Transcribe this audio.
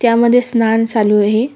त्या मध्ये स्नान चालू आहे.